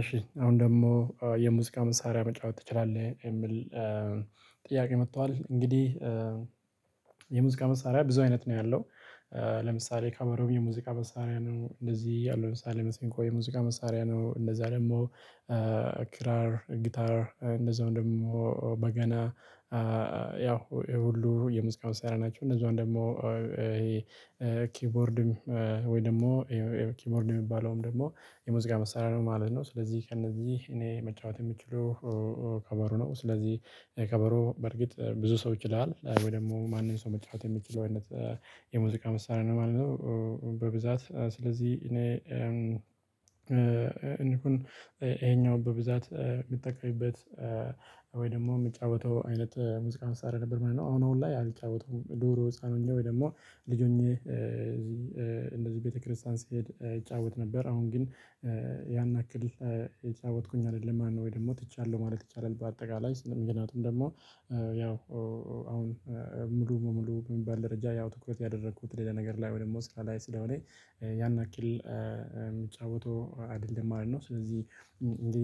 እሺ አሁን ደግሞ የሙዚቃ መንሳሪያ መጫወት ትችላለህ የሚል ጥያቄ መጥቷል እንግዲህ። የሙዚቃ መሳሪያ ብዙ አይነት ነው ያለው። ለምሳሌ ከበሮም የሙዚቃ መሳሪያ ነው እንደዚህ ያለው ለምሳሌ መሰንቆ የሙዚቃ መሳሪያ ነው እንደዛ ደግሞ ክራር ጊታር እንደዛውም ደግሞ በገና ያው ይሄ ሁሉ የሙዚቃ መሳሪያ ናቸው። እነዛን ደግሞ ይሄ ኪውቦርድም ወይ ደግሞ ኪውቦርድ የሚባለውም ደግሞ የሙዚቃ መሳሪያ ነው ማለት ነው። ስለዚህ ከእነዚህ እኔ መጫወት የምችለው ከበሮ ነው። ስለዚህ እኔ ከበሮ በርግጥ ብዙ ሰው ይችላል ወይ ደግሞ ማንም ሰው መጫወት የምችለው አይነት የሙዚቃ መሳሪያ ነው ማለት ነው። በብዛት ስለዚህ እኔ ይሄኛው በብዛት የምጠቀምበት ወይ ደግሞ እምጫወተው አይነት ሙዚቃ መሳሪያ ነበር ምንድነው? አሁን ላይ አልጫወተውም ድሮ ህፃን ሆኜ ወይ ደግሞ ልጅ ሆኜ እንደዚህ ቤተክርስቲያን ሲሄድ እጫወት ነበር። አሁን ግን ያን ያክል እየተጫወትኩኝ አይደለም ማለት ነው ወይ ደግሞ ትቻለሁ ማለት ይቻላል። በአጠቃላይ ስንል ምክንያቱም ደግሞ ያው አሁን ሙሉ ሙሉ የሚባል ደረጃ ያው ትኩረት ያደረኩት ሌላ ነገር ላይ ወደ ሞስት ላይ ስለሆነ ያን ያክል የሚጫወተው አይደለም። አይደለም ስለዚህ እንዴ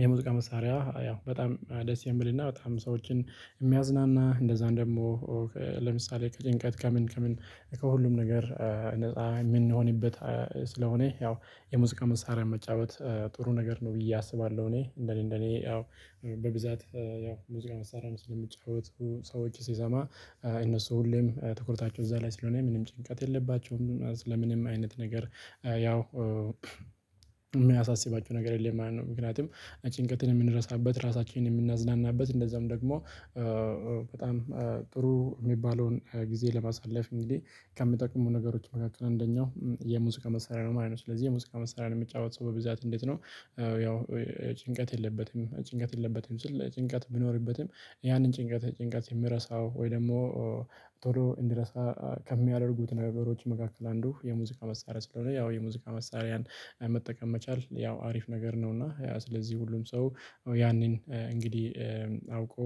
የሙዚቃ መሳሪያ ያው በጣም ደስ የሚልና በጣም ሰዎችን የሚያዝናና እንደዛ ደግሞ ለምሳሌ ከጭንቀት ከምን ከምን ከሁሉም ነገር ነፃ የምንሆንበት ያው የሙዚቃ መሳሪያን መጫወት ጥሩ ነገር ነው ብዬ አስባለሁ። እኔ እንደኔ እንደኔ ያው በብዛት ሙዚቃ መሳሪያም እሚጫወቱ ሰወች ስሰማ እነሱ ሁሌም ትኩረታቸው እዛ ላይ ስለሆነ ምንም ጭንቀት የለባቸውም ስለምንም አይነት ነገር ያው እሚአሳስባቸው ነገር የለም ማለት ነው። ምክንያቱም ጭንቀትን እምንረሳበት ራሳችንን የምናዝናናበት እንደዛውም ደግሞ በጣም ጥሩ እሚባለውን ጊዜ ለማሳለፍ እንግዲህ ከሚጠቅሙ ነገሮች መካከል አንደኛው የሙዚቃ መሳሪያ ነው ማለት ነው። ስለዚህ የሙዚቃ መሳሪያን የሚጫወት ሰው በብዛት እንዴት ነው? ያው ጭንቀት የለበትም ጭንቀት የለበትም ስል ጭንቀት ቢኖርበትም ያንን ጭንቀት ጭንቀትን የሚረሳው ወይ ደግሞ ቶሎ እንዲረሳ ከሚያደርጉት ነበሮች መካከል አንዱ የሙዚቃ መሳሪያ ስለሆነ ያው የሙዚቃ መሳሪያን መጠቀም መቻል ያው አሪፍ ነገር ነው። እና ያ ስለዚህ ሁሉም ሰው ያንን እንግዲህ አውቆ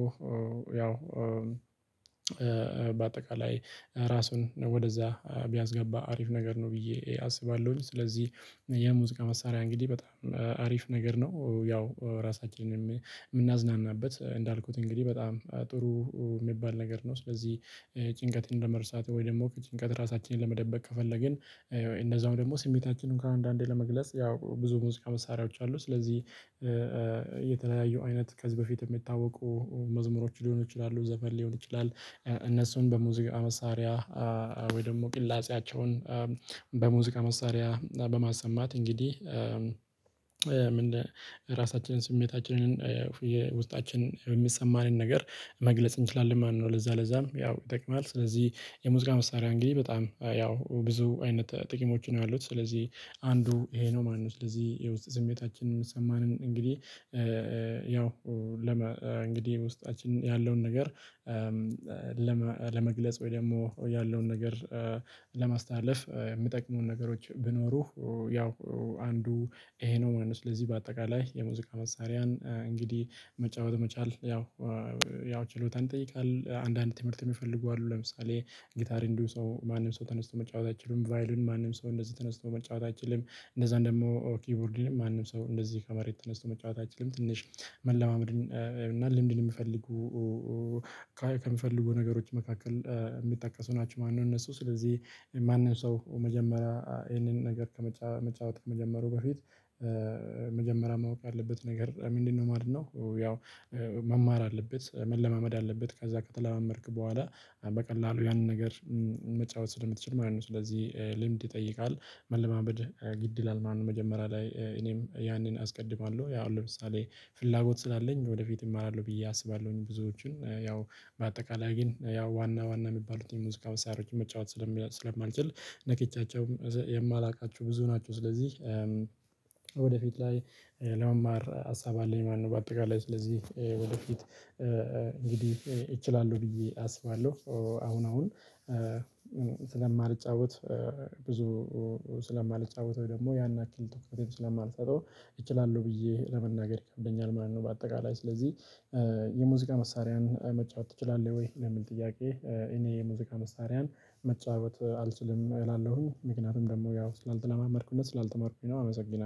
ያው በአጠቃላይ ራሱን ወደዛ ቢያስገባ አሪፍ ነገር ነው ብዬ አስባለሁኝ። ስለዚህ የሙዚቃ መሳሪያ እንግዲህ በጣም አሪፍ ነገር ነው ያው ራሳችንን የምናዝናናበት እንዳልኩት እንግዲህ በጣም ጥሩ የሚባል ነገር ነው። ስለዚህ ጭንቀትን ለመርሳት ወይ ደግሞ ከጭንቀት ራሳችንን ለመደበቅ ከፈለግን እነደዛው ደግሞ ስሜታችንን እንኳ አንዳንዴ ለመግለጽ ያው ብዙ ሙዚቃ መሳሪያዎች አሉ ስለዚህ የተለያዩ አይነት ከዚህ በፊት የሚታወቁ መዝሙሮች ሊሆኑ ይችላሉ ዘፈን ሊሆን ይችላል። እነሱን በሙዚቃ መሳሪያ ወይ ደግሞ ቅላጼያቸውን በሙዚቃ መሳሪያ በማሰማት እንግዲህ ለራሳችን ስሜታችንን የውስጣችን እሚሰማንን ነገር መግለጽ እንችላለን ማለት ነው። ለዛ ለዛም ያው ይጠቅማል ስለዚህ የሙዚቃ መሳሪያ እንግዲህ በጣም ያው ብዙ አይነት ጥቅሞች ነው ያሉት ስለዚህ አንዱ ይሄ ነው። ማነው ስለዚህ የውስጥ ስሜታችንን የሚሰማንን እንግዲህ ያው እንግዲህ ውስጣችን ያለውን ነገር ለመግለጽ ወይ ደግሞ ያለውን ነገር ለማስተላለፍ የሚጠቅሙን ነገሮች ቢኖሩ ያው አንዱ ይሄ ነው ማለት ነው። ስለዚህ በአጠቃላይ የሙዚቃ መሳሪያን እንግዲህ መጫወት መቻል ያው ያው ችሎታን ይጠይቃል። አንዳንድ ትምህርት እሚፈልጉ አሉ ለምሳሌ ጊታር እንዲሁ ሰው ማንም ሰው ተነስቶ መጫወት አይችልም ቫዩሊን ማንም ሰው እንደዚህ ተነስቶ መጫወት አይችልም። እንነዛን ደግሞ ኪቦርድንም ማንም ሰው እንደዚህ ከመሬት ተነስቶ መጫወት አይችልም ትንሽ መለማመድን እና ልምድን የምፈልጉ ከማፈልጉ ነገሮች መካከል እሚጠቀሱ ናቸው ማለት ነው። እነሱ ስለዚህ ማንም ሰው መጀመሪያ ይህንን ነገር መጫወት ከመጀመሩ በፊት መጀመሪያ ማወቅ አለበት ነገር ምንድን ነው ማለት ነው። ያው መማር አለበት መለማመድ አለበት ከዛ ከተለማመድክ በኋላ በቀላሉ ያንን ነገር መጫወት ስለምትችል ማለት ነው። ስለዚህ ልምድ ይጠይቃል መለማመድ ግድ ይላል መጀመሪያ ላይ እኔም ያንን አስቀድማለሁ ያው ለምሳሌ ፍላጎት ስላለኝ ወደፊት እማራለሁ ብዬ አስባለሁኝ። ብዙዎችን ያው በአጠቃላይ ግን ያው ዋና ዋና የሚባሉትን ሙዚቃ መሳሪያወችን መጫወት ስለማልችል ነክቻቸውም የማላውቃቸው ብዙ ናቸው። ስለዚህ ወደፊት ላይ ለመማር ሀሳብ አለኝ ማለት ነው። በአጠቃላይ ስለዚህ ወደፊት እንግዲህ እችላለሁ ብዬ አስባለሁ። አሁን አሁን ስለማልጫወት ብዙ ስለማልጫወት ወይ ደግሞ ያን አኩረትም ስለማልሰጠው እችላለሁ ብዬ ለመናገር ይከብደኛል ማለት ነው። በአጠቃላይ ስለዚህ የሙዚቃ መሳሪያን መጫወት ትችላለህ ወይ ለሚል ጥያቄ? እኔ ሙዚቃ መሳሪያን መጫወት አልችልም እላለሁኝ ምክንያቱም ደግሞ ያው ስላልተለማመድኩ እና ስላልተማርኩኝ ነው። አመሰግናለሁ